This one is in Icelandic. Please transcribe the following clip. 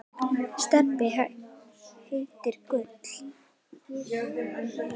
Stebbi heitinn Gull.